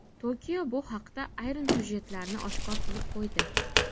Tokio bu haqda ayrim syujetlarni oshkor qilib qo‘ydi.